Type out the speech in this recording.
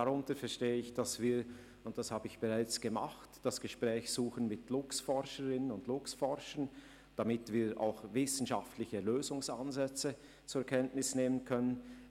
Darunter verstehe ich, dass wir das Gespräch mit Luchsforscherinnen und Luchsforschern suchen – das habe ich bereits gemacht –, damit wir auch wissenschaftliche Lösungsansätze zur Kenntnis nehmen können.